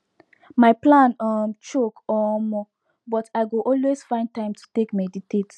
my plan um choke omo but i go always find time to take meditate